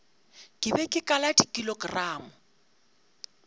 ke be ke kala dikilogramo